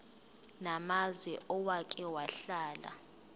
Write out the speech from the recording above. namazwe owake wahlala